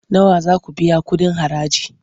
Nawa za ku biya kuɗin haraji?